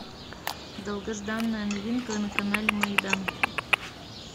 долгожданная новинка на канале майдан